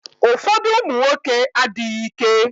Ụfọdụ ụmụnwoke adịghị ike.